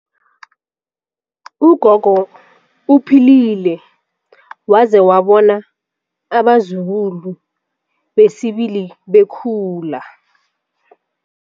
Ugogo uphilile waze wabona abazukulu besibili bekhula.